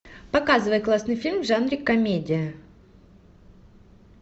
показывай классный фильм в жанре комедия